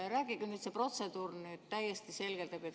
Rääkige nüüd see protseduur täiesti selgelt läbi.